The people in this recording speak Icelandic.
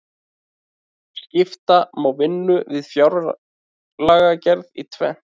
skipta má vinnu við fjárlagagerð í tvennt